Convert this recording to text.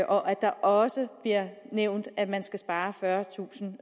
og at der også bliver nævnt at man skal spare fyrretusind